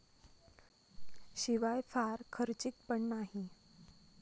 शिवाय फार खर्चिक पण नाही.